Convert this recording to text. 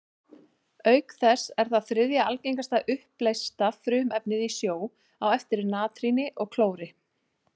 Auk þess er það þriðja algengasta uppleysta frumefnið í sjó, á eftir natríni og klóri.